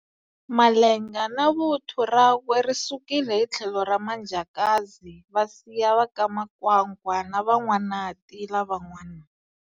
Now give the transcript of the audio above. Malenga na vuthu rakwe ri sukile hi tlhelo ra Manjakazi va siya va ka Makwakwa na Van'wanati lavan'wani.